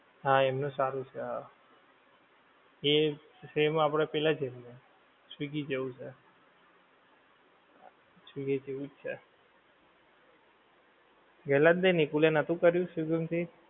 હા એનું સારું છે હા. એ same આપડે પેલાં જેવુ છે, સ્વીગી જેવુ છે. સ્વીગી જેવુ જ છે. ગેલાં દી નિકુલે નોતું કર્યું સ્વીગી માંથી.